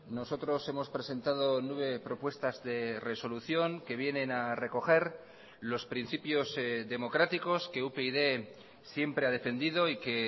nosotros hemos presentado nueve propuestas de resolución que vienen a recoger los principios democráticos que upyd siempre ha defendido y que